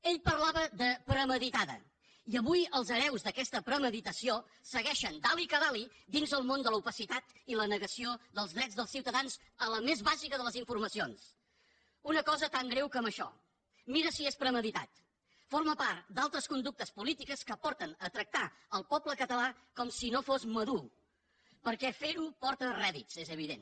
ell parlava de premeditada i avui els hereus d’aquesta premeditació segueixen dale que dalenegació dels drets dels ciutadans a la més bàsica de les informacions una cosa tan greu com això mira si és premeditat forma part d’altres conductes polítiques que porten a tractar el poble català com si no fos madur perquè fer ho porta rèdits és evident